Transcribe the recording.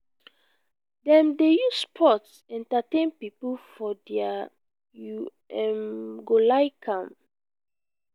dem dey use sports entertain pipo for their you um go like am.